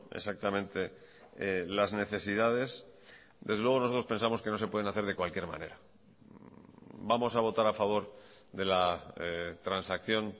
exactamente las necesidades desde luego nosotros pensamos que no se pueden hacer de cualquier manera vamos a votar a favor de la transacción